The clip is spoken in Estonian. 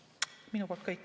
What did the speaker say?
Minu poolt kõik.